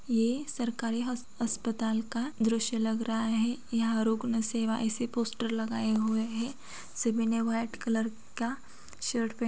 ये सरकारी अस अस्पताल का दृश्य लग रहा है। यहाँ रोको ना सेवा ऐसे पोस्टर लगाए हुए हैं। सभी ने व्हाइट कलर का शर्ट प --